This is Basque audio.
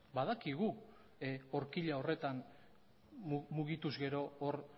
badakigu orkila horretan mugituz gero hor